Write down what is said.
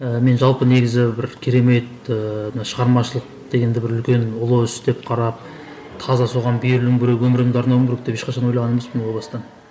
ііі мен жалпы негізі бір керемет ііі шығармашылық дегенді бір үлкен ұлы іс деп қарап таза соған берілуім керек өмірімді арнауым керек деп ешқашан ойлаған емеспін о бастан